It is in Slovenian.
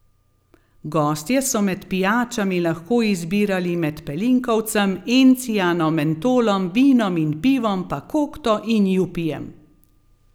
Gostje so med pijačami lahko izbirali med pelinkovcem, encijanom, mentolom, vinom in pivom, pa kokto in jupijem ...